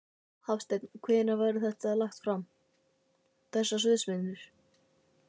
Hafsteinn: Og hvenær verður þetta lagt fram, þessar sviðsmyndir?